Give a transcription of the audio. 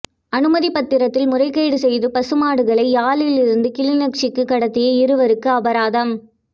அனுமதிப்பத்திரத்தில் முறைகேடு செய்து பசுமாடுகளை யாழிலிருந்து கிளிநொச்சிக்குக் கடத்திய இருவருக்கு அபராதம்